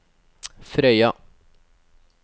Frøya